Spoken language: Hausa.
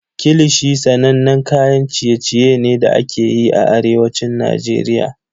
Kilishi sanannen kayan ciye-ciye ne da ake yi a Arewacin Najeriya.